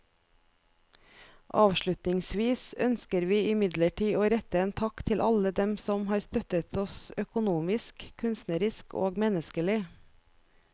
Avslutningsvis ønsker vi imidlertid å rette en takk til alle dem som har støttet oss økonomisk, kunstnerisk og menneskelig.